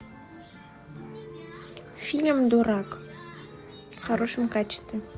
фильм дурак в хорошем качестве